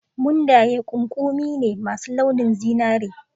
Mundayen ƙuƙumi ne masu launin zinari.